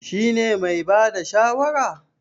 Shi ne mai bada shawara?